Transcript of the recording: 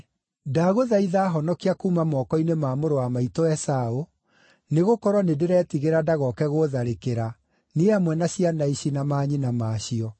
Ndagũthaitha honokia kuuma moko-inĩ ma mũrũ wa maitũ Esaũ, nĩgũkorwo nĩndĩretigĩra ndagoke gũũtharĩkĩra, niĩ hamwe na ciana ici, na manyina maacio.